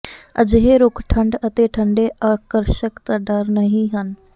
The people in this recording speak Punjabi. ਅਜਿਹੇ ਰੁੱਖ ਠੰਡ ਅਤੇ ਠੰਡੇ ਅਕਰਸ਼ਕ ਦਾ ਡਰ ਨਹੀ ਹਨ